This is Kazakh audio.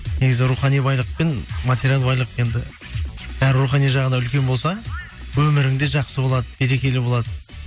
негізі рухани байлық пен материалдық байлық енді бәрібір рухани жағы үлкен болса өмірің де жақсы болады берекелі болады